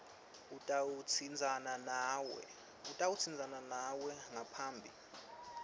utawutsintsana nawe ngaphambi